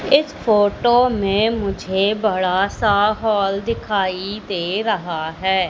इस फोटो में मुझे बड़ा सा हॉल दिखाई दे रहा है।